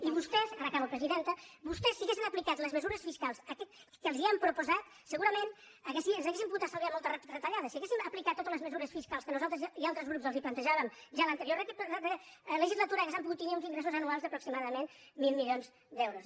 i vostès ara acabo presidenta si haguessin aplicat les mesures fiscals que els han proposat segurament ens hauríem pogut estalviar moltes retallades si haguéssim aplicat totes les mesures fiscals que nosaltres i altres grups els plantejàvem ja a l’anterior legislatura hauríem pogut tenir uns ingressos anuals d’aproximadament mil milions d’euros